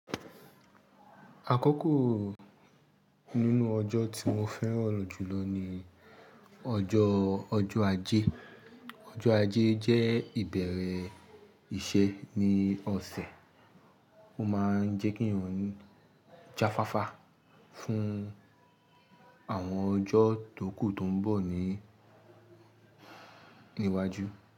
Àkoko nínú ọjọ́ tí mo fẹ́ràn jùlọ ni ọjọ́, ọjọ́ ajé. Ọjọ́ ajé jẹ́ ìbẹ̀rẹ̀ iṣẹ́ ní ọ̀sẹ̀, ó máa ń jẹ́ kí èèyàn ń jáfáfá fún àwọn ọjọ́ tó kù tó ń bọ̀ ní, níwájú.